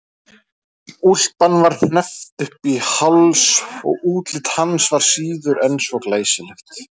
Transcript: Úlpan var hneppt upp í háls og útlit hans var síður en svo glæsilegt.